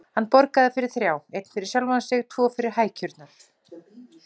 Hann borgaði fyrir þrjá: Einn fyrir sjálfan sig, tvo fyrir hækjurnar.